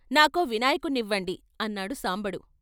నాకో వినాయకుణ్ణివ్వండి ' అన్నాడు సాంబడు.